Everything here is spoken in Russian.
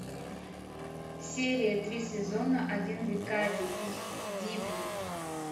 серия три сезона один викарий из дибли